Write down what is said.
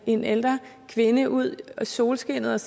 en ældre kvinde ud i solskinnet